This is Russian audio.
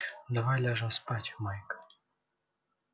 давай ляжем спать майк